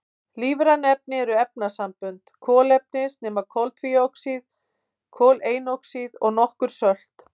Lífræn efni eru efnasambönd kolefnis nema koltvíoxíð, koleinoxíð og nokkur sölt.